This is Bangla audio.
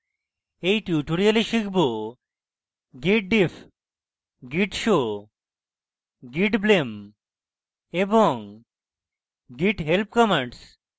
in tutorial আমরা শিখব